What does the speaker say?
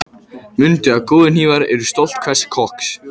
Mundu að góðir hnífar eru stolt hvers kokks.